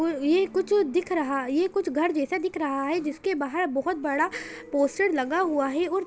ये कुछ दिख रहा ये कुछ घर जैसा दिख रहा है जिसके बाहर बहुत बड़ा पोस्टर लगा हुआ है।